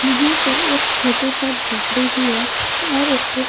यहां पे एक छोटू सा झोपड़ी भी है और इसके--